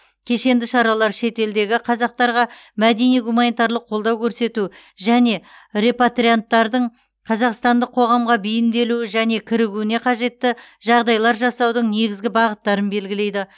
кешенді шаралар шетелдегі қазақтарға мәдени гуманитарлық қолдау көрсету және репатрианттардың қазақстандық қоғамға бейімделуі және кірігуіне қажетті жағдайлар жасаудың негізгі бағыттарын белгілейді